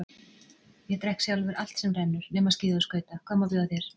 Ég drekk sjálfur allt sem rennur nema skíði og skauta, hvað má bjóða þér?